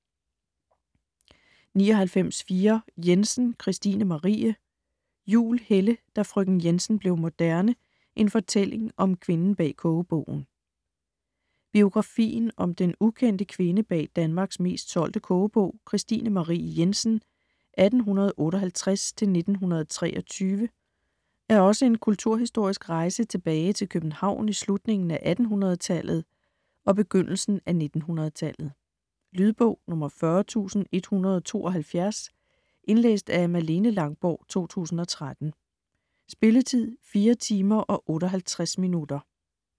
99.4 Jensen, Kristine Marie Juhl, Helle: Da frøken Jensen blev moderne: en fortælling om kvinden bag kogebogen Biografien om den ukendte kvinde bag Danmarks mest solgte kogebog, Kristine Marie Jensen (1858-1923), er også en kulturhistorisk rejse tilbage København i slutningen af 1800-tallet og begyndelsen af 1900-tallet. Lydbog 40172 Indlæst af Malene Langborg, 2013. Spilletid: 4 timer, 58 minutter.